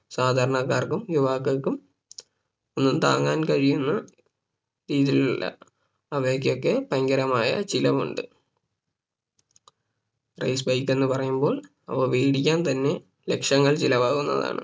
സാധാരണക്കാർക്കും യുവാക്കൾക്കും ഒന്നും താങ്ങാൻ കഴിയുന്ന രീതിയിലല്ല അവയ്‌ക്കൊക്കെ ഭയങ്കരമായ ചിലവുണ്ട് Race bike എന്ന് പറയുമ്പോൾ അവ വേടിക്കാൻ തന്നെ ലക്ഷങ്ങൾ ചിലവാകുന്നതാണ്